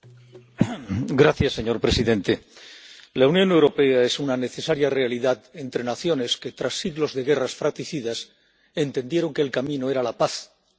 Señor presidente, la Unión Europea es una necesaria realidad entre naciones que, tras siglos de guerras fratricidas, entendieron que el camino era la paz, la unión en democracia.